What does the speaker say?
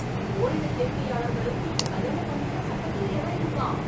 ஓரின சேர்க்கையாளர்களும் இப்ப கல்யாணம் பண்ணிக்க சட்டத்துல இடம் இருக்காம்!